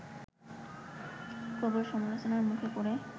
প্রবল সামলোচনার মুখে পড়ে